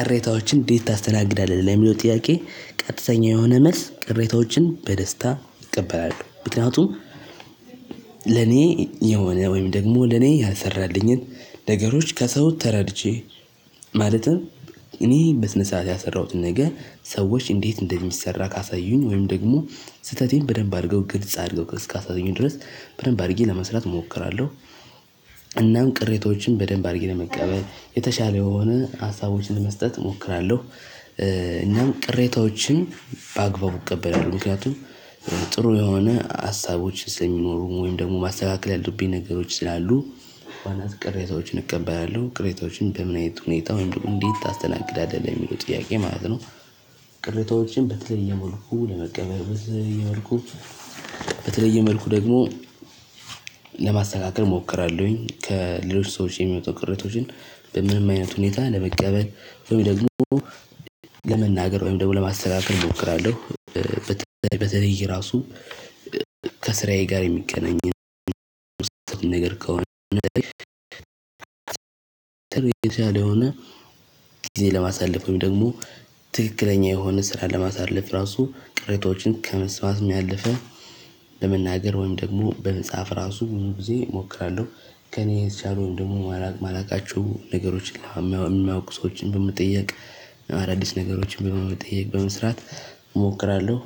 ቅሬታዎችን እንዴት ታስተናግዳለህ ለሚለው ጥያቄ ቀጥተኛ የሆነ መልስ ቅሬታዎችን በደስታ እቀበላለሁ። ምክንያቱም ለኔ የሆነ ወይም ደግሞ ለኔ ያልሰራልኝን ነገሮች ከሰው ተረድቼ ማለትም እኔ በስነ ስርዓት ያልሰራሁትን ነገር ሰዎች እንዴት እንደሚሰራ ካሳዩኝ ወይም ደግሞ ስህተቴን በደንብ አድርገው ግልጽ አድርገው እስካሳዩኝ ድረስ በደንብ አድርጌ ለመስራት እሞክራለሁ። እናም ቅሬታዎችን በደንብ አድርጌ ለመቀበል የተሻለ የሆነ ሀሳቦችን ለመስጠት እሞክራለሁ። እናም ቅሬታወችን በአግባቡ እቀበላለሁ ምክንያቱም ጥሩ የሆነ ሀሳቦች ስለሚኖሩ ወይም ደግሞ ማስተካከል ያሉብኝ ነገሮች ስላሉ። በዋናነት ቅሬታወችን እቀበላለሁ። ቅሬታወችን በምን አይነት ሁኔታ ወይም ደግሞ እንዴት ታስተናግዳለህ ለሚለው ጥያቄ ማለት ነው። ቅሬታወችን በተለየ መልኩ ለመቀበል በተለየ መልኩ በተለየ መልኩ ደግሞ ለማስተካከል እሞክራለሁኝ። ከሌሎች ሰዎች የሚወጡ ቅሬታወችን በምንም አይነት ሁኔታ ለመቀበል ወይ ደግሞ ለመናገር ወይም ደግሞ ለማስተካከል እሞክራለሁ። በተለይ ራሱ ከስራዬ ጋር የሚገናኝ ነገር ከሆነ። ጥሩ የቸለ የሆነ ጊዜ ለማሳለፍ ወይም ደግሞ ትክክለኛ የሆነ ስራ ለማሳለፍ እራሱ ቅሬታዎችን ከመስማትም ያለፈ በመናገር ወይም ደግሞ በመጽሐፍ እራሱ ብዙ ጊዜ እሞክራለሁ። ከእኔ የተቻሉን ደግሞ ማላውቅ ማላውቃቸው ነገሮችን የሚያውቁ ሰዎችን በመጠየቅ አዳዲስ ነገሮችን በመጠየቅ በመስራት እሞክራለሁ።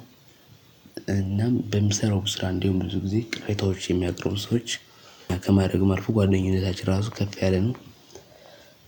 እናም በምሰራው ስራ እንዲሁም ብዙ ጊዜ ቅሬታዎች የሚያቀርቡ ሰዎች ከማድረግም አልፎ ጓደኝነታችን እራሱ ከፍ ያለ ነው።